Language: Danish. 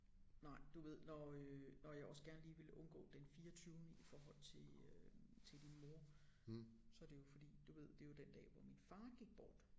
Nej du ved når øh når jeg også gerne lige ville undgå den fireogtyvende i forhold til øh til din mor så det jo fordi du ved det jo den dag hvor min far gik bort